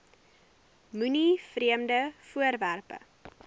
moenie vreemde voorwerpe